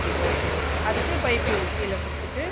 okay okay அதுக்கு piping கீழ கொடுத்துட்டு